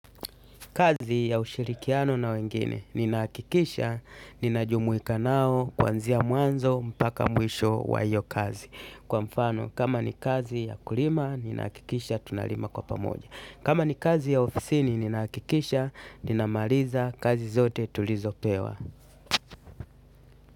Kazi ya ushirikiano na wengine, ninahakikisha, ninajumuika nao, kuanzia mwanzo, mpaka mwisho wa hiyo kazi. Kwa mfano, kama ni kazi ya kulima, ninahakikisha, tunalima kwa pamoja. Kama ni kazi ya ofisini, ninahakikisha, ninamaliza, kazi zote tulizopewa.